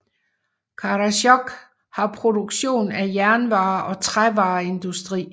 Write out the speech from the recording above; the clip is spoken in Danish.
Karasjok har produktion af jernvarer og trævareindustri